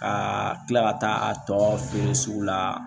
Ka kila ka taa a tɔ feere sugu la